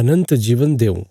अनन्त जीवन देऊं